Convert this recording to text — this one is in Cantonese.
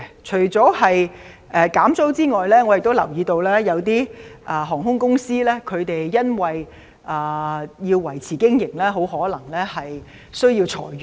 除了減租之外，我亦留意到有些航空公司為維持經營，很可能要裁員。